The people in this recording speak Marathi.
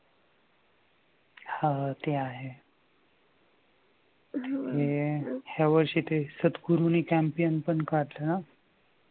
हा ते आहे. हे ह्या वर्षी ते सद्गुरू नी पण काढलं ना?